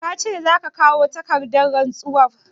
Ka ce za ka kawo takardar rantsuwar?